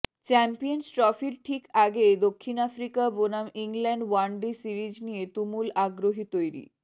champions ট্রফির ঠিক আগে দক্ষিণ আফ্রিকা বনাম ইংল্যান্ড ওয়ান ডে সিরিজ নিয়ে তুমুল আগ্রহ তৈরি